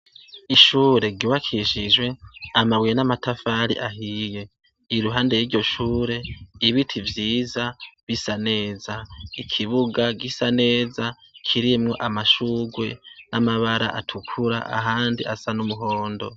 Ishure gibakishijwe amabuye n'amatafari ahiye iruhande ry'iryoshure ibiti vyiza bisaneza ikibuga gisaneza kiremwo amashugwe n'amabara atukura ahandi asa n'umuhondo.